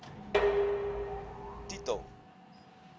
t titel i